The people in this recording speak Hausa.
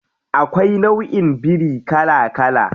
Akwai nauʼin biri kala kala.